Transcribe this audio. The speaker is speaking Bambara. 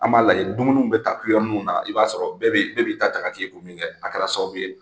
An b'a lajɛ dumuniw bɛ ta kuyɛriw ninnu na, i b'a sɔrɔ bɛɛ b'i bɛɛ b'i ta ka t'i kun min kɛ a kɛra sababu ye